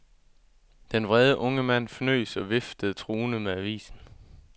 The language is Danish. Den vrede unge mand fnøs og viftede truende med avisen.